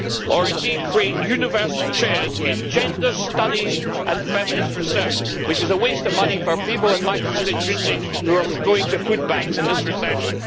or, indeed, on creating university chairs in gender studies and feminist research which is a waste of money for people in my constituency who are going to food banks in this recession.